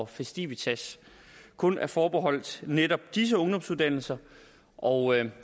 festivitas kun er forbeholdt netop disse ungdomsuddannelser og